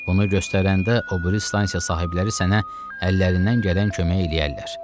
Bunu göstərəndə o biri stansiya sahibləri sənə əllərindən gələn kömək eləyərlər.